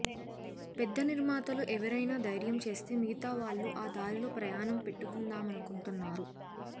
పెద్ద నిర్మాతలు ఎవరైనా ధైర్యం చేస్తే మిగతా వాళ్లు ఆ దారిలో ప్రయాణం పెట్టుకుందామనుకుంటున్నారు